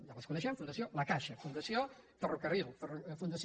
ja les coneixem fundació la caixa funda·ció ferrocarril fundació